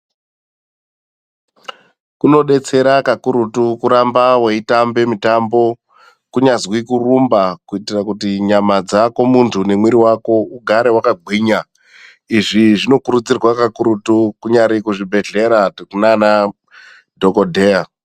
Kunodetsera kakurutu kuramba weitambe mutambo kunyazwi kurumba kuitira kuti nyama dzako munthu nemwiri wako ugare wakagwinya, izvi zvinokurudzirwa kakurutu kunyari kuzvibhedhlera kunana dhokodheya.